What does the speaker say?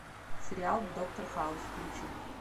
сериал доктор хаус включи